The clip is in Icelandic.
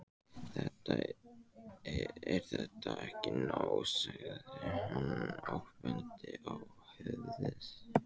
Er þetta ekki nóg? sagði hann og benti á höfuðið.